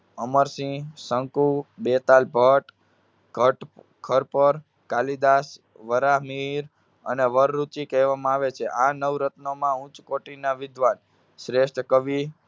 અમરસિંહ, શકું, બેતાલ ભટ્ટ, ઘટખરપર, કાલિદાસ, વરાહ મિહિર, અને વર રુચિ કહેવામાં આવે છે. આ નવરત્નોમાં ઉચ્ચ કોટિના વિદ્વાન શ્રેષ્ઠ કવિ